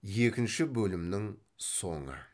екінші бөлімнің соңы